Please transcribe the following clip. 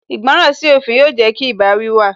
Ìgbọràn sí òfin yóò jẹ́ kí ìbáwí wà